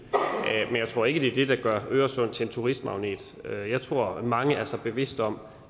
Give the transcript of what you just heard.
tror ikke at det er det der gør øresund til en turistmagnet jeg tror at mange er sig bevidst om